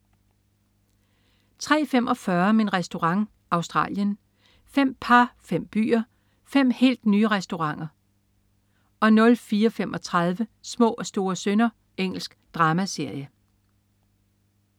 03.45 Min Restaurant. Australien. Fem par, fem byer, fem helt nye restauranter 04.35 Små og store synder. Engelsk dramaserie